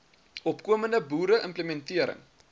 opkomende boere implementering